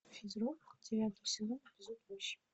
физрук девятый сезон эпизод восемь